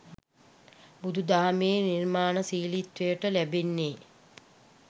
බුදු දහමේ නිර්මාණශීලිත්වයට ලැබෙන්නේ